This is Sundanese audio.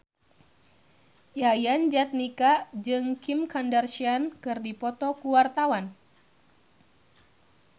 Yayan Jatnika jeung Kim Kardashian keur dipoto ku wartawan